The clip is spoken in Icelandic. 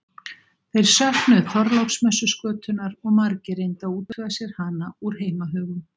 Þeir söknuðu Þorláksmessuskötunnar og margir reyndu að útvega sér hana úr heimahögum.